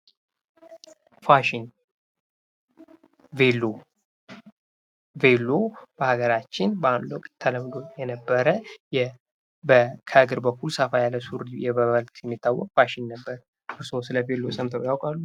ፋሽን ቬሎ፦ ቬሎ በሀገራችን በአንድ ወቅት ተለምዶ የነበረ ከእግር በኩል ሰፋ ያለ ሱሪ በመባል የሚታወቅ ፋሽን ነበር። እርሶ ስለ ቬሎ ሰምተው ያውቃሉ?